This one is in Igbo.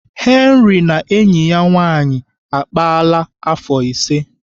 Henna na enyi ya nwaanyị akpaala afọ ise.